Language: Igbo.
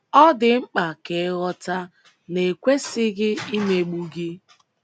Ọ dị mkpa ka ịghọta na e kwesịghị imegbu gị um.